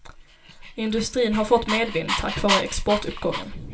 Industrin har fått medvind, tack vare exportuppgången.